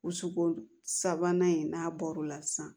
Wusukolo sabanan in n'a bɔr'o la sisan